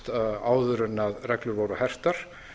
fæddist áður en reglur voru hertar